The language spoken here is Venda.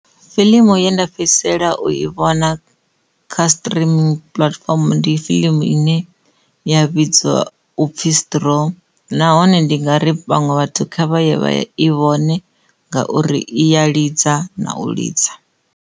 Fiḽimu ye nda fhedzisela u i vhona khau streaming platform ndi fiḽimu ine ya vhidzwa upfhi strong nahone ndi nga ri vhaṅwe vhathu kha vha ye vha ya i vhone ngauri i ya ḽidza na u lidza.